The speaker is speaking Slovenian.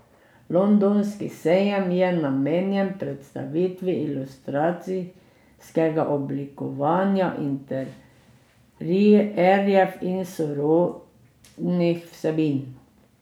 Londonski sejem je namenjen predstavitvi industrijskega oblikovanja, interierjev in sorodnih vsebin.